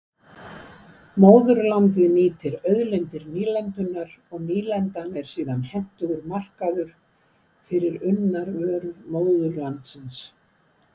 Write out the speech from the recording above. Móðurlandið nýtir auðlindir nýlendunnar og nýlendan er síðan hentugur markaður fyrir unnar vörur móðurlandsins.